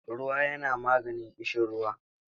Ruwa yana maganin ƙishiruwa.